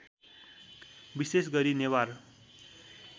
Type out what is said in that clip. विशेष गरी नेवार